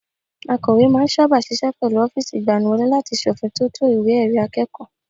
Akọ̀we máa ń sáábà ṣiṣẹ́ pẹ̀lú ọ́fíìsì ìgbaniwọlé láti ṣe òfin tótó ìwé ẹ̀rí akẹ́kọ̀ọ́